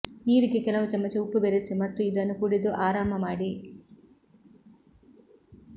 ನೀರಿಗೆ ಕೆಲವು ಚಮಚ ಉಪ್ಪು ಬೆರೆಸಿ ಮತ್ತು ಇದನ್ನು ಕುಡಿದು ಆರಾಮ ಮಾಡಿ